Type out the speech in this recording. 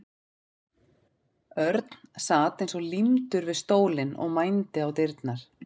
Örn sat eins og límdur við stólinn og mændi á dyrnar.